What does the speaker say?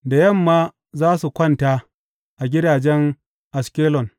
Da yamma za su kwanta a gidajen Ashkelon.